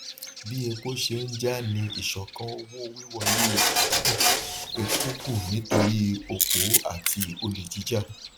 bí epo ṣe ń jà ní ìsọkan owó wíwọlé epo kù epo kù nítorí òpó àti olè jíjà